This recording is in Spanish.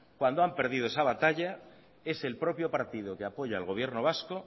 cuando han perdido esa batalla es el propio partido que apoya al gobierno vasco